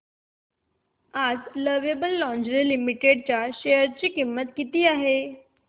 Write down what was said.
आज Lovable Lingerie Limited च्या share ची किंमत किती आहे